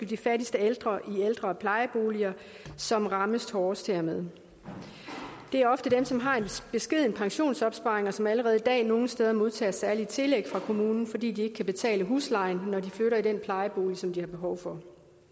de fattigste ældre i ældre og plejeboliger som rammes hårdest hermed det er ofte dem som har en beskeden pensionsopsparing og som allerede i dag nogle steder modtager særlige tillæg fra kommunen fordi de ikke kan betale huslejen når de flytter i den plejebolig som de har behov for